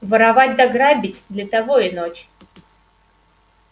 воровать да грабить для того и ночь